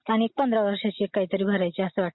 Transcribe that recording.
आणि एक पंधरा वर्षांची काहीतरी भरायची आहे